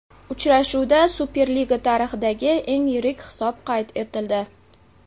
Uchrashuvda Superliga tarixidagi eng yirik hisob qayd etildi.